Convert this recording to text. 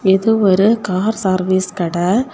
இது ஒரு car service கட.